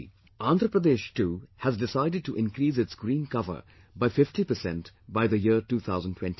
Andhra Pradesh, too has decided to increase its green cover by 50% by the year 2029